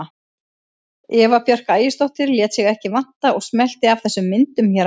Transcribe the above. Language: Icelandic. Eva Björk Ægisdóttir lét sig ekki vanta og smellti af þessum myndum hér að neðan.